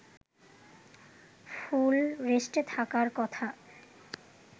ফুল রেস্টে থাকার কথা